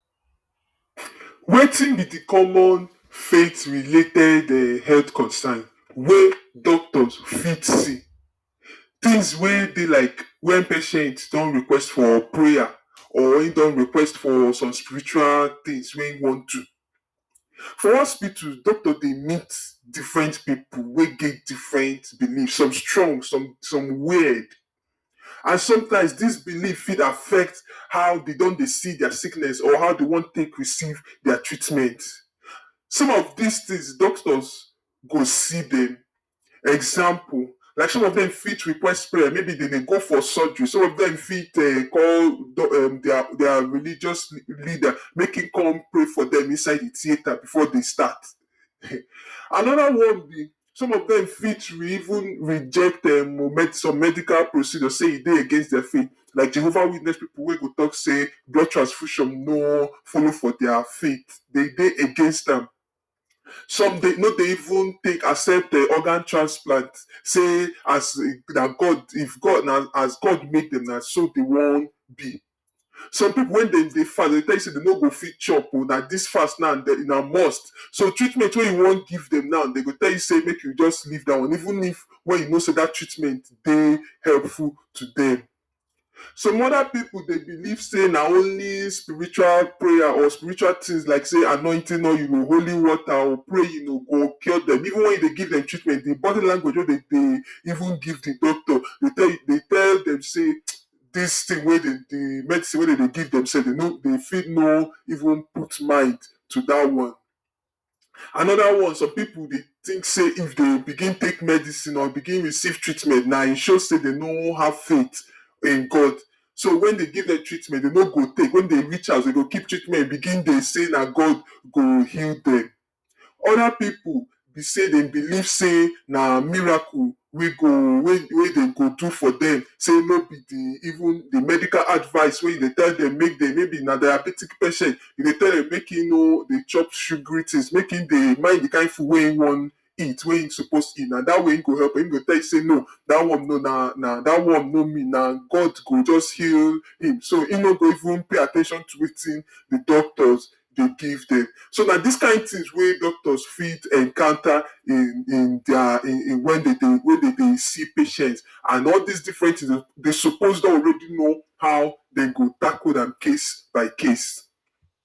Wetin be de common faith related um health concern wey doctors fit say, things wey be like wen patient don request for prayer or im don request for some spiritual things wey im want do. For hospitul doctors dey meet different pipu wey get different beliefs, some strong some some wierd and sometimes dis belief fih affect how dey don dey see dia sickness or how dey want take receive dia treatment. Some of dis things doctors go see dem. Example, like some of dem fit request prayers maybe dem dey go for surgery some of dem fit um call dia um dia religious leaders make im come pray for dem inside de theater before they start Another one be some of dem fit um reject some medical procedures say e dey against dia faith, like Jehovah witness pipu wey go talk say blood transfusion no follow for dia faith, dem dey against am. Some dey no dey even take accept um organ transplant say as na god if god na as god make dem na so dem wan be. Some pipu wen dem dey fast dey go tell you sey dem no go fit chop o na dis fast now na must dis so treatment wey you wan give dem now dey go tell you say make you just leave dat one even if wey you know sey dat treatment dey helpful to dem. Some other pipu dey believe sey na only spiritual prayer or spiritual tins like sey anointing oil o holy water o praying o go cure dem even wen you dey give dem treatment de bodi language wey dem dey even give de doctor dey tell you dey tell dem sey dis tin wey dem dey de medicine wey dem dey give dem sef dem no go dey fih no even put mind to dat one. Another one some pipu dey think sey if dey begin tek medicine or begin receive treatment na im show sey dey no have faith in god so wen dey give dem treatment dey no go take wen dey reach house dem go keep treatment begin dey say na god go heal dem. Other pipu be sey dem believe sey na miracle wey go wey dem go do for dem sey no be de even de medical advice wey you dey tell dem make dem, maybe na diabetic patient, you dey tell dem make im no dey chop sugary things make im dey mind de kind food wey im want eat wey im suppose eat na dat way e go help am. Im go tell you sey no dat one no na dat one no mean na god go just heal im so im no go even pay at ten tion to wetin de doctors dey give dem. So na dis kind things wey doctors fit encounter in in dia in wey dem dey wey dem dey see patient and all dis different things dey suppose don already know how dem go tackle am case by case.